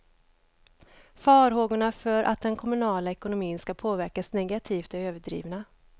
Farhågorna för att den kommunala ekonomin skall påverkas negativt är överdrivna.